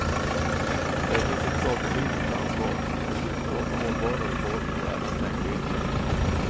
Där finns ett sakpolitiskt ansvar, att utforma hållbara reformer och även tänka innovativt.